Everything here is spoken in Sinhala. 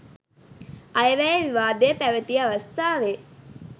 අයවැය විවාදය පැවැති අවස්ථාවේ